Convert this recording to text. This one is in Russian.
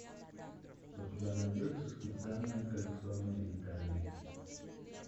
у тебя найдется специальное коллекционное издание